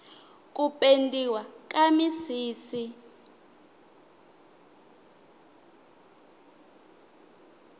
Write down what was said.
ku pendiwa ka misisi